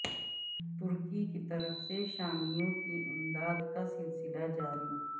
ترکی کی طرف سے شامیوں کی امداد کا سلسلہ جاری